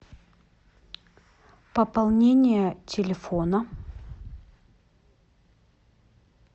пополнение телефона